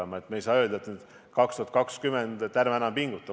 Me ei saa öelda, et käes on 2020 ja ärme enam pingutame.